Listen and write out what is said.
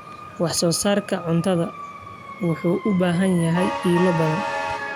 Wax-soo-saarka cuntadu wuxuu u baahan yahay ilo badan.